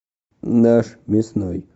наш мясной